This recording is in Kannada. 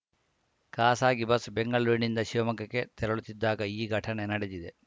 ಖಾಸಗಿ ಬಸ್‌ ಬೆಂಗಳೂರಿನಿಂದ ಶಿವಮೊಗ್ಗಕ್ಕೆ ತೆರಳುತ್ತಿದ್ದಾಗ ಈ ಘಟನೆ ನಡೆದಿದೆ